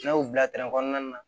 N'a y'o bila kɔnɔna na